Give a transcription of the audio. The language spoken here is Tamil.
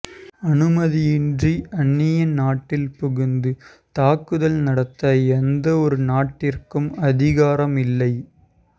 அனுமதியின்றி அன்னிய நாட்டில் புகுந்து தாக்குதல் நடத்த எந்தவொரு நாட்டிற்கும் அதிகாரம் இல்லை